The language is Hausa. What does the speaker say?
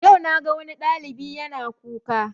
Yau na ga wani ɗalibi yana kuka